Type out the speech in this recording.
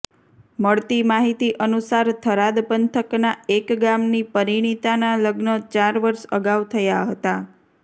મળતી માહીતી અનુસાર થરાદ પંથકના એક ગામની પરિણીતાના લગ્ન ચાર વર્ષ અગાઉ થયા હતા